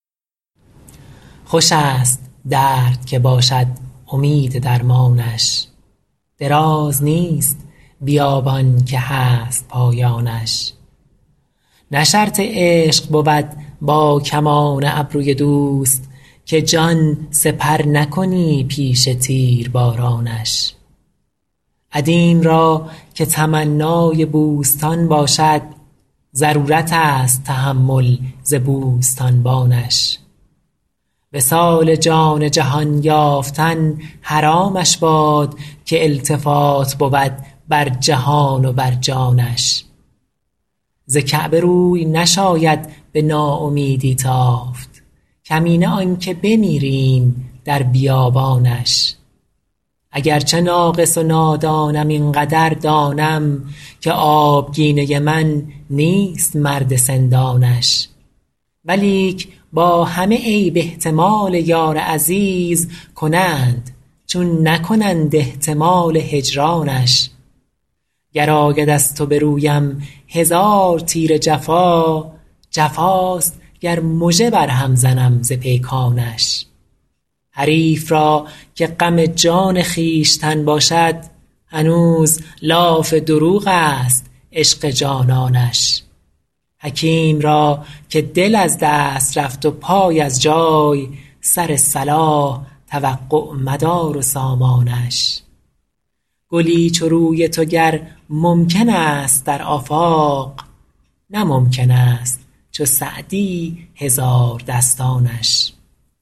خوش است درد که باشد امید درمانش دراز نیست بیابان که هست پایانش نه شرط عشق بود با کمان ابروی دوست که جان سپر نکنی پیش تیربارانش عدیم را که تمنای بوستان باشد ضرورت است تحمل ز بوستانبانش وصال جان جهان یافتن حرامش باد که التفات بود بر جهان و بر جانش ز کعبه روی نشاید به ناامیدی تافت کمینه آن که بمیریم در بیابانش اگر چه ناقص و نادانم این قدر دانم که آبگینه من نیست مرد سندانش ولیک با همه عیب احتمال یار عزیز کنند چون نکنند احتمال هجرانش گر آید از تو به رویم هزار تیر جفا جفاست گر مژه بر هم زنم ز پیکانش حریف را که غم جان خویشتن باشد هنوز لاف دروغ است عشق جانانش حکیم را که دل از دست رفت و پای از جای سر صلاح توقع مدار و سامانش گلی چو روی تو گر ممکن است در آفاق نه ممکن است چو سعدی هزاردستانش